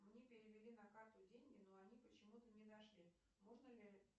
мне перевели на карту деньги но они почему то не дошли можно ли